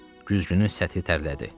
Güzgünün səthi tərlədi.